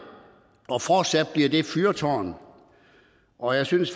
og fortsat vil være et fyrtårn og jeg synes